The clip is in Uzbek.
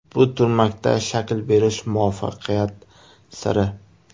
Bu turmakda shakl berish muvaffaqiyat siri.